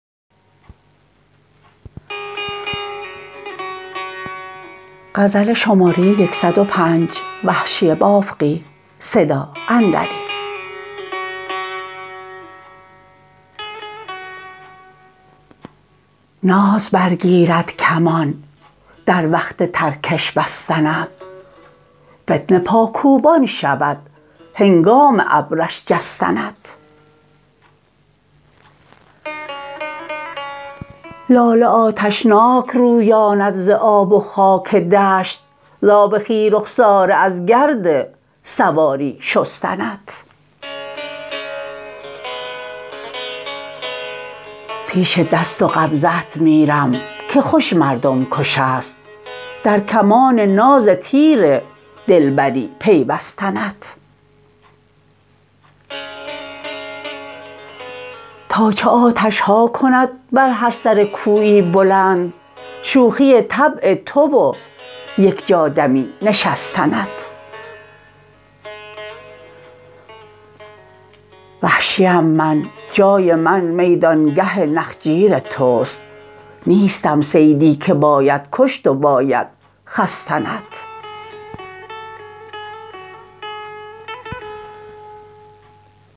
ناز برگیرد کمان در وقت ترکش بستنت فتنه پاکوبان شود هنگام ابرش جستنت لاله آتشناک رویاند ز آب و خاک دشت ز آب خوی رخساره از گرد سواری شستنت پیش دست و قبضه ات میرم که خوش مردم کش است در کمان ناز تیر دلبری پیوستنت تا چه آتشها کند بر هر سر کویی بلند شوخی طبع تو و یک جا دمی نشستنت وحشیم من جای من میدانگه نخجیر تست نیستم صیدی که باید کشت و باید خستنت